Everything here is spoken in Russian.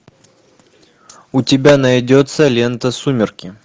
у тебя найдется лента сумерки